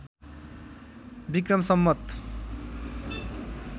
Vikram Samvat